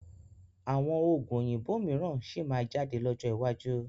Àwọn Oògùn òyìnbó mìíràn síí má jáde lọ́jọ́ iwájú